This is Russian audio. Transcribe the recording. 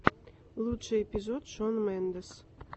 лучший эпизод шон мендес